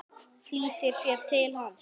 Flýtir sér til hans.